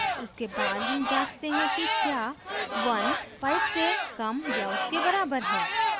उसके बाद हम जाँचते हैं कि क्या 15 से कम या उसके बराबर है